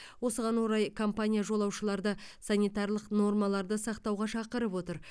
осыған орай компания жолаушыларды санитарлық нормаларды сақтауға шақырып отыр